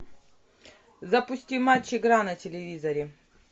запусти матч игра на телевизоре